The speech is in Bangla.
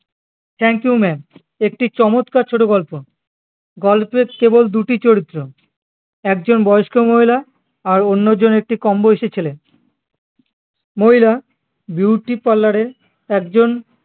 thankyoumaam একটি চমৎকার ছোট গল্প গল্পে কেবল দুটি চরিত্র একজন বয়স্ক মহিলা আর অন্যজন একটি কম বয়সী ছেলে মহিলা বিউটি পার্লার এর একজন